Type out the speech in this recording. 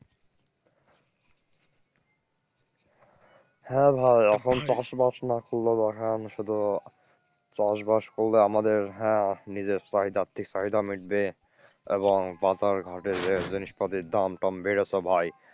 হ্যাঁ ভাই এখন চাষবাস না করলে রসায়ন শুধু চাষবাস করলে আমাদের হ্যাঁ নিজের চাহিদা আর্থিক চাহিদা মিটবে এবং বাজার ঘাটের জিনিস পাতির দাম টাম বেড়েছে ভাই।